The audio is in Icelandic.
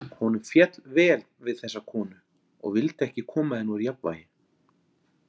Honum féll vel við þessa konu og vildi ekki koma henni úr jafnvægi.